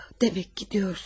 Demək gedirsən.